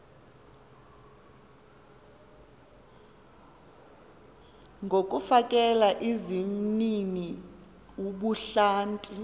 ngokufakela izimnini ubuhlanti